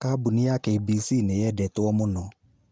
Kambuni ya KBC niyendetwo mũno